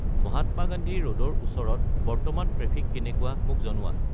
মহাত্মা গান্ধী ৰ'ডৰ ওচৰত বৰ্তমান ট্ৰেফিক কেনেকুৱা মোক জনোৱা